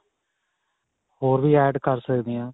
ਹੋਰ ਵੀ add ਕਰ ਸਕਦੇ ਆ.